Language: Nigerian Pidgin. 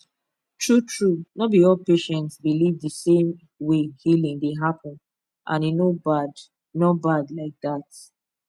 truetrue no be all patients believe the same way healing dey happen and e no bad no bad like that